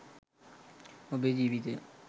ඔබේ ජීවිතය